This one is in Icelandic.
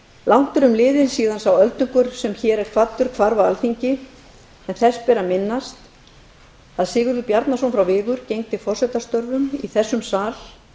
langt er um liðið síðan sá öldungur sem hér er kvaddur hvarf af alþingi en þess ber að minnast að sigurður bjarnason frá vigur gegndi forsetastörfum í þessum sal